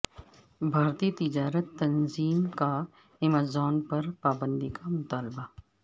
بھارتی تجارتی تنظیم کا ایمیزون پر پابندی کا مطالبہ